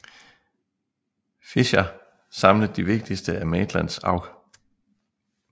Fisher samlet de vigtigste af Maitlands afh